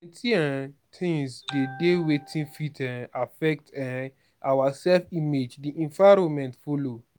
plenty um things dey dey wey fit um affect um our self image di environment follow